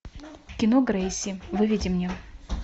кино грейси выведи мне